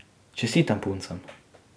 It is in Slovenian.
Čestitam puncam.